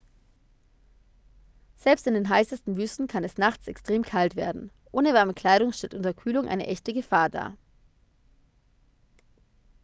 selbst in den heißesten wüsten kann es nachts extrem kalt werden ohne warme kleidung stellt unterkühlung eine echte gefahr dar